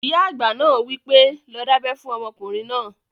Ìyá àgbà náà wí pé, 'lọ dábẹ́ fún ọmọkùnrin náà!"